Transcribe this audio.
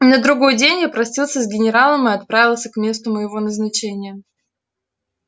на другой день я простился с генералом и отправился к месту моего назначения